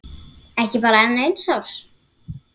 Ekki bara enn eins árs?